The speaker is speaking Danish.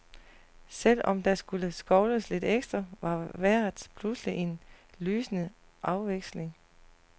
Selv om der skulle skovles lidt ekstra, var vejret pludselig en lysende afveksling.